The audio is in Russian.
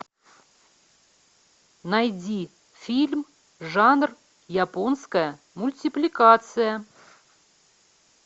найди фильм жанр японская мультипликация